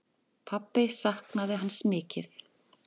Pabbi saknaði hans mikið.